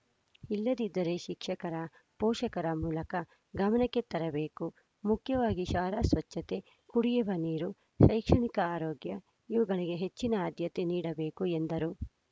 ಇಲ್ಲದಿದ್ದರೆ ಶಿಕ್ಷಕರ ಪೋಷಕರ ಮೂಲಕ ಗಮನಕ್ಕೆ ತರಬೇಕು ಮುಖ್ಯವಾಗಿ ಶಾಲಾ ಸ್ವಚ್ಚತೆ ಕುಡಿಯುವ ನೀರು ಶೈಕ್ಷಣಿಕ ಆರೋಗ್ಯ ಇವುಗಳಿಗೆ ಹೆಚ್ಚಿನ ಆದ್ಯತೆ ನೀಡಬೇಕು ಎಂದರು